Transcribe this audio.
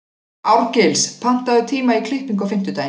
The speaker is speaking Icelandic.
Árgils, pantaðu tíma í klippingu á fimmtudaginn.